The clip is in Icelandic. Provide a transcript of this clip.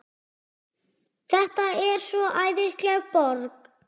Þetta er svo æðisleg borg.